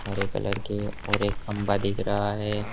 हरे colour की और एक खंबा दिख रहा है।